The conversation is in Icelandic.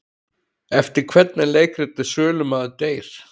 Eftir hvern er leikritið Sölumaður deyr?